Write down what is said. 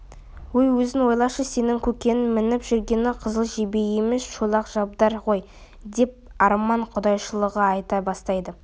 өй өзің ойлашы сенің көкеннің мініп жүргені қызыл жебе емес шолақ шабдар ғой деп арман құдайшылығын айта бастайды